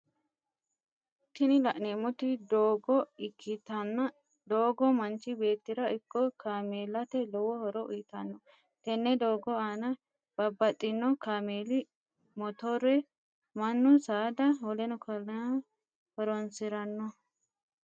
Tini la'neemoti doogo ikkitanna doogo manchi beetira ikko kaameellate lowo horo uyitano, tene doogo aanna babaxino kaameli mottore manu saada wkl horonsirano